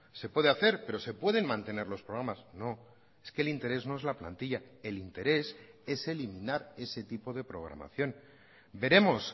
se puede hacer pero se pueden mantener los programas no es que el interés no es la plantilla el interés es eliminar ese tipo de programación veremos